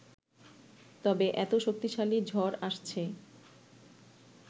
তবে এত শক্তিশালী ঝড় আসছে